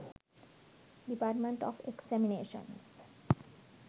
department of examinations